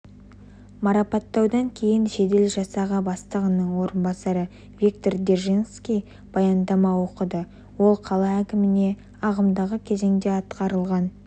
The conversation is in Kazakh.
марапаттаудан кейін жедел жасағы бастығының орынбасары виктор держанский баяндама оқыды ол қала әкіміне ағымдағы кезеңде атқарылған